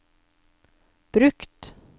brukt